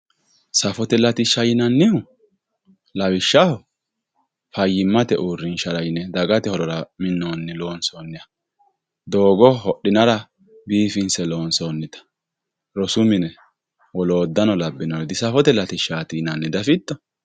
Safote latisha yinanihu lawishaho fayimate urinshara yine dagate horora minoniha lonsoniha dogo hodhinara bifinse lonsonita roosu mine wolotano labinore di safote latisha yinanni dafito